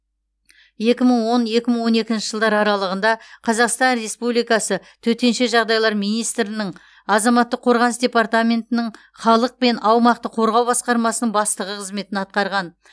екі мың он екі мың он екінші жылдар аралығында қазақстан республикасы төтенше жағдайлар министрінің азаматтық қорғаныс департаментінің халық пен аумақты қорғау басқармасының бастығы қызметін атқарған